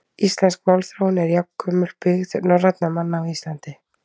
Íslensk málþróun er jafngömul byggð norrænna manna á Íslandi.